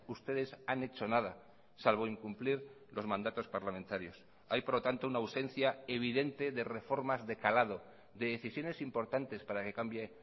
ustedes han hecho nada salvo incumplir los mandatos parlamentarios hay por lo tanto una ausencia evidente de reformas de calado de decisiones importantes para que cambie